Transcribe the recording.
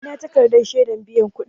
Ina takarɗan shedar biyan kuɗin?